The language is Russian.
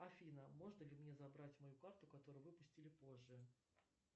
афина можно ли мне забрать мою карту которую выпустили позже